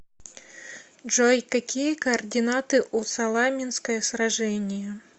джой какие координаты у саламинское сражение